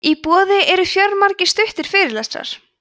í boði eru fjölmargir stuttir fyrirlestrar